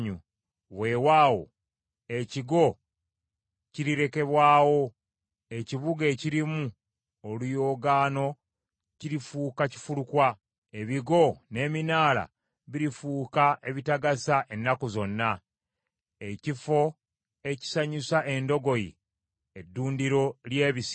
Weewaawo ekigo kirirekebwawo, ekibuga ekirimu oluyoogaano kirifuuka kifulukwa. Ebigo n’eminaala birifuuka ebitagasa ennaku zonna, ekifo ekisanyusa endogoyi, eddundiro ly’ebisibo,